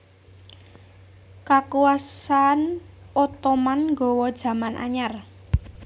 Kakuwasan Ottoman nggawa jaman anyar